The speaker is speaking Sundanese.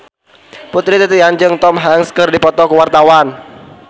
Putri Titian jeung Tom Hanks keur dipoto ku wartawan